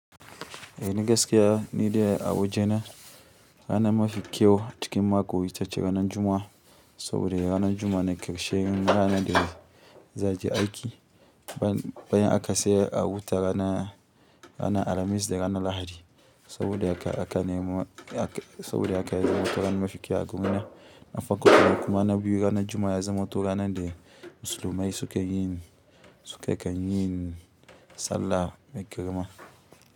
Eh ni gaskiya ni dai a wajena rana mafi kyau cikin mako ita ce ranar Juma'a saboda ranar Juma'a na ƙarshe ranar da za je aiki bayan aka sayar a wuta rana, rana Alhamis da rana Lahadi saboda aka, aka nemo, aka, saboda aka yi zumunta rana mafi kyau a gona. Na fako kuma na biyu ranar Juma'a ya zamo to ranan da musulmai suke yin, suke kan yin sallah mai ƙirema.